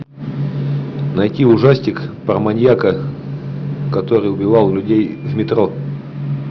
найти ужастик про маньяка который убивал людей в метро